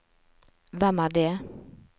hvem er det